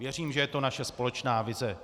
Věřím, že je to naše společná vize.